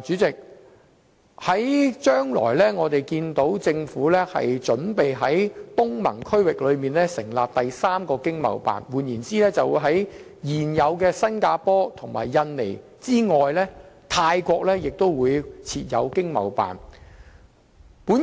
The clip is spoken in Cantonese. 主席，既然政府準備在東盟區域成立第三個經濟貿易辦事處，即在現有的新加坡及印尼經貿辦之外，設立泰國經貿辦，我